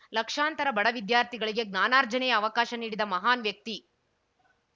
ಲಕ್ಷಾಂತರ ಬಡ ವಿದ್ಯಾರ್ಥಿಗಳಿಗೆ ಜ್ಞಾನಾರ್ಜನೆಯ ಅವಕಾಶ ನೀಡಿದ ಮಹಾನ್‌ ವ್ಯಕ್ತಿ